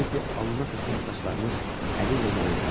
Teddi alnına tökülən saçlarını əliylə yana elədi.